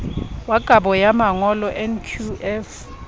wa kabo ya mangolo nqf